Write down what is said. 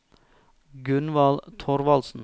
Gunvald Thorvaldsen